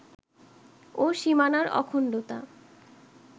ও সীমানার অখণ্ডতা